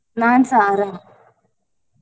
ನಾನ್ಸಾ ಆರಾಮ್.